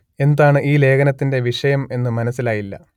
എന്താണ് ഈ ലേഖനത്തിന്റെ വിഷയം എന്നു മനസ്സിലായില്ല